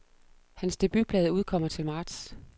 Hans debutplade udkommer til marts.